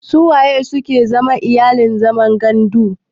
Sun wanene suke zama iyalin zaman gandu?